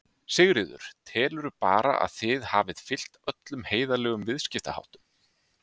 Sigríður: Telurðu bara að þið hafið fylgt öllum heiðarlegum viðskiptaháttum?